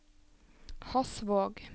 Hasvåg